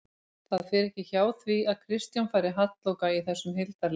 Það fer ekki hjá því að Kristján fari halloka í þessum hildarleik